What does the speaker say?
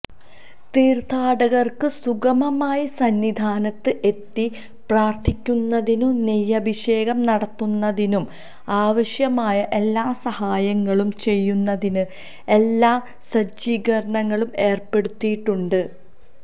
തീര്ഥാടകര്ക്ക് സുഗമമായി സന്നിധാനത്ത് എത്തി പ്രാര്ഥിക്കുന്നതിനും നെയ്യഭിഷേകം നടത്തുന്നതിനും ആവശ്യമായ എല്ലാ സഹായങ്ങളും ചെയ്യുന്നതിന് എല്ലാ സജ്ജീകരണങ്ങളും ഏര്പ്പെടുത്തിയിട്ടുണ്ട്